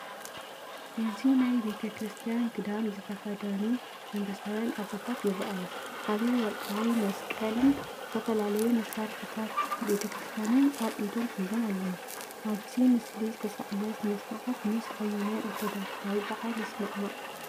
እዚ ናይ ቤተ ክርስቲያን ክዳን ዝተኸድኑ መንፈሳውያን ኣቦታት ይረኣዩ። ዓቢ ወርቃዊ መስቀልን ዝተፈላለዩ መሳርሒታት ቤተ ክርስቲያንን ኣብ ኢዶም ሒዞም ኣለዉ። ኣብዚ ምስሊ ዝተሳእለ ስነ-ስርዓት ምስ ኣየናይ ኦርቶዶክሳዊ በዓል ይሰማማዕ?